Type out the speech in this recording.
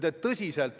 Kaja Kallas, palun!